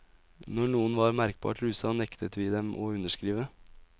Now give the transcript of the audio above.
Når noen var merkbart rusa, nektet vi dem å underskrive.